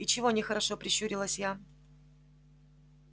и чего нехорошо прищурилась я